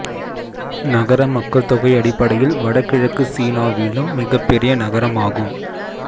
நகர மக்கள் தொகை அடிப்படையில் வடகிழக்கு சீனாவிலும் மிகப்பெரிய நகரம் ஆகும்